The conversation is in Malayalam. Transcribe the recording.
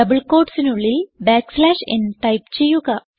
ഡബിൾ quotesനുള്ളിൽ n ടൈപ്പ് ചെയ്യുക